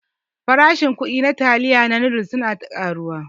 Farashin kuɗi na taliya da noodles na ta ƙaruwa ne.